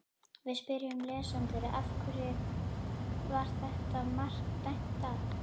Við spyrjum lesendur: Af hverju var þetta mark dæmt af?